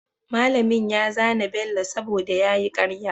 mallamin ya zane bello saboda yayi karya